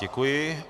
Děkuji.